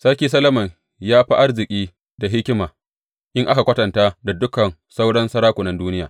Sarki Solomon ya fi arziki da hikima in aka kwatanta da dukan sauran sarakunan duniya.